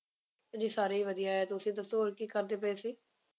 ਜੀ ਸਾਰੇ ਹੀ ਵਧੀਆ ਐ ਤੁਸੀ ਦੱਸੋ ਹੋਰ ਕੀ ਕਰਦੇ ਪਏ ਸੀ